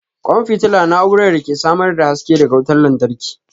ƙwan fitila na'urar da ke samar da haske daga wutar lantarki.